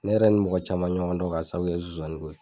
Ne yɛrɛ nin mɔgɔ caman ɲɔgɔn dɔ ka sababu kɛ nsonsaninko ye